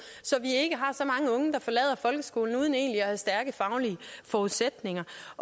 så vi ikke har så mange unge der forlader folkeskolen uden egentlig at have stærke faglige forudsætninger